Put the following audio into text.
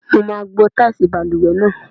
Mo máa gbo táìsì balùwẹ̀ náà.